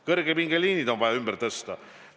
Kõrgepingeliinid on vaja ümber tõsta.